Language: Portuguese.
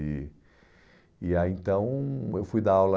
E e aí, então, eu fui dar aula...